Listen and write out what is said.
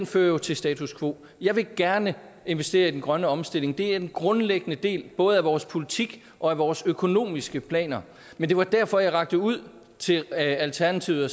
fører til status quo jeg vil gerne investere i den grønne omstilling det er en grundlæggende del både af vores politik og af vores økonomiske planer men det var derfor jeg rakte ud til alternativet og